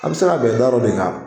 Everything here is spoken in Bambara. A be se ka bɛn darɔ de kan